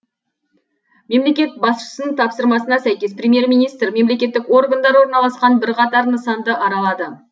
мемлекет басшысының тапсырмасына сәйкес премьер министр мемлекеттік органдар орналасқан бірқатар нысанды аралады